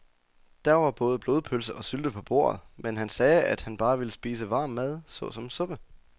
Der var både blodpølse og sylte på bordet, men han sagde, at han bare ville spise varm mad såsom suppe.